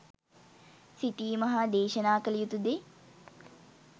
සිතීම හා දේශනා කළ යුතු දේ